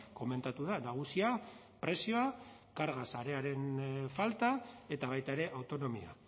komentatu da nagusia prezioa karga sarearen falta eta baita ere autonomia